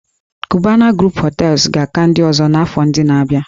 "Cubana group Hotels" ga-aka ndị ọzọ n'afọ ndị na-abịa